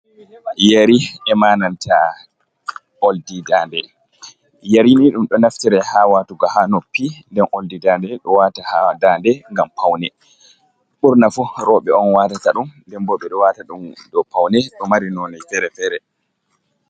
Yeri ema nanta oldi daande, yeri ni ɗum ɗo naftire haa waatuga haa noppi, nden oldi daande, ɗo waata haa daande ngam pawne. Ɓurna fu rowɓe on waatata ɗum. Nden bo ɓe waata ɗum dow pawne, ɗo mari noone fere-fere.